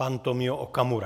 Pan Tomio Okamura.